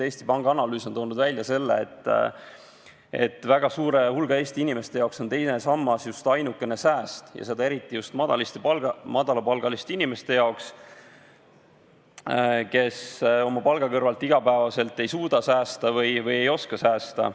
Eesti Panga analüüs on toonud välja, et väga suure hulga Eesti inimeste jaoks on teine sammas just ainukene sääst, seda eriti just madalapalgaliste inimeste jaoks, kes oma palga kõrvalt iga päev ei suuda säästa või ei oska säästa.